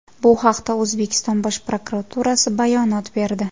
Bu haqda O‘zbekiston Bosh prokuraturasi bayonot berdi .